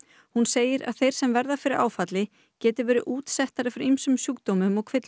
hún segir að þeir sem verða fyrir áfalli geti verið útsettari fyrir ýmsum sjúkdómum og kvillum